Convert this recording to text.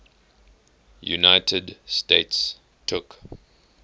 united states took